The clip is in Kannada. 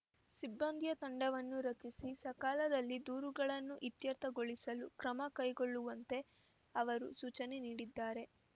ಸಿಬ್ಬಂದಿಯ ತಂಡವನ್ನು ರಚಿಸಿ ಸಕಾಲದಲ್ಲಿ ದೂರುಗಳನ್ನು ಇತ್ಯರ್ಥಗೊಳಿಸಲು ಕ್ರಮ ಕೈಗೊಳ್ಳುವಂತೆ ಅವರು ಸೂಚನೆ ನೀಡಿದ್ದಾರೆ